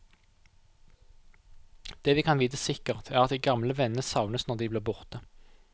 Det vi kan vite sikkert, er at de gamle vennene savnes når de blir borte.